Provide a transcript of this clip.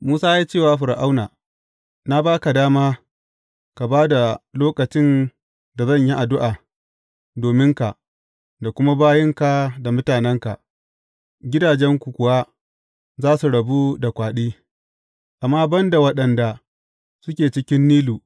Musa ya ce wa Fir’auna, Na ba ka dama ka ba da lokacin da zan yi addu’a dominka da kuma bayinka da mutanenka, gidajenku kuwa za su rabu da kwaɗi, amma ban da waɗanda suke cikin Nilu.